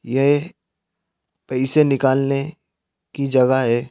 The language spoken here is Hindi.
येह पैसे निकालने की जगह है।